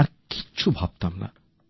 আর কিছু ভাবতাম না